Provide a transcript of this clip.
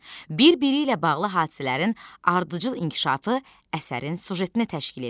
Bir-biri ilə bağlı hadisələrin ardıcıl inkişafı əsərin süjetini təşkil edir.